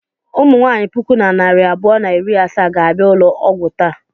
Ụmụ nwaanyị puku na narị abụọ na iri asaa ga-abịa ụlọ ọgwụ taa.